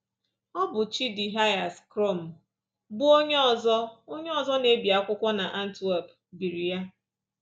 Ọ bụ Chidihias Crom, bụ́ onye ọzọ onye ọzọ na-ebi akwụkwọ n’Antwerp, biri ya